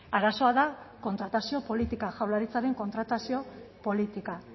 arazoa da kontratazio politika jaurlaritzaren kontratazio politika